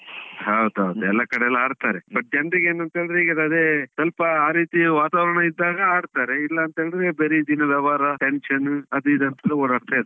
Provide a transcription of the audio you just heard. ಹೌದು ಹೌದು, ಎಲ್ಲ ಕಡೆಯಲ್ಲು ಆಡ್ತಾರೆ but ಜನ್ರಿಗೆ ಏನುಂತ ಹೇಳಿದ್ರೆ ಈಗದೆ ಸ್ವಲ್ಪ ಆ ರೀತಿಯ ವಾತಾವರಣ ಇದ್ದಾಗ ಆಡ್ತಾರೆ, ಇಲ್ಲಾಂತ ಹೇಳಿದ್ರೆ ಬರೀ ಇದೇ ವ್ಯವಹಾರ tension ಅದು ಇದು ಅಂತ್ಲೆ ಓಡಾಡ್ತ ಇರ್ತಾರೆ.